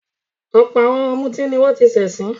Ọ̀pọ̀ àwọn ọ̀mútí ni wọ́n ti ṣẹ̀sín.